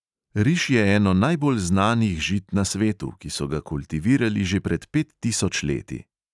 Riž je eno najbolj znanih žit na svetu, ki so ga kultivirali že pred pet tisoč leti.